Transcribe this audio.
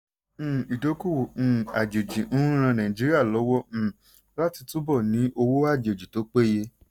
um ìdókòwò um àjèjì ń ràn nàìjíríà lọ́wọ́ um láti túbọ̀ ní owó àjèjì tó péye.